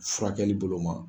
Furakɛli bolo ma.